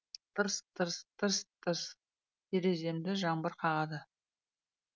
тырс тырс тырс тырс тереземді жаңбыр қағады